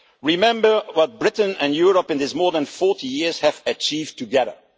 Remember what Britain and Europe in these more than 40 years have achieved together.